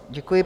Děkuji.